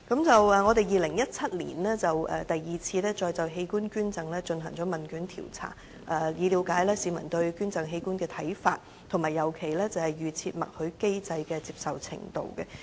在2017年，我們再就器官捐贈進行第二次問卷調查，以了解市民對捐贈器官的看法，尤其對於預設默許機制的接受程度。